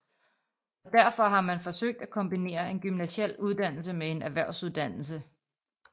Og derfor har man forsøgt at kombinere en gymnasial uddannelse med en erhvervsuddannelse